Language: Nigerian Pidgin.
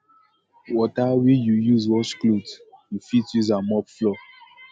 water wey yu use wash cloth yu fit use am take mop floor